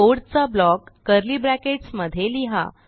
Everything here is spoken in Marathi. कोड चा ब्लॉक कर्ली ब्रॅकेट्स मध्ये लिहा